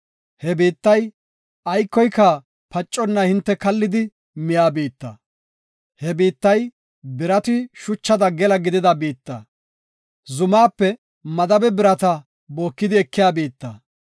He biittay aykoyka paconna hinte kallidi miya biitta. He biittay birati shuchada gela gidida biitta. Zumaape madabe birata bookidi ekiya biitta.